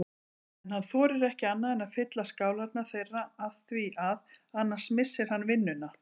En hann þorir ekki annað en að fylla skálarnar þeirra afþvíað annars missir hann vinnuna.